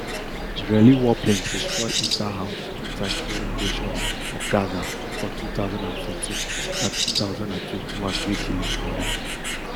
israeli warplanes destroy issa house two times during invasions of gaza for two thousand and fourteen and two thousand and twenty-one wey kill im broda